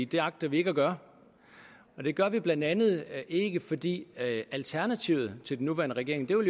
det agter vi ikke at gøre det gør vi blandt andet ikke fordi alternativet til den nuværende regering jo i